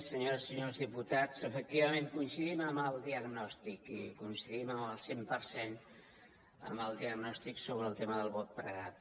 senyores i senyors diputats efectivament coincidim en el diagnòstic i coincidim en el cent per cent en el diagnòstic sobre el tema del vot pregat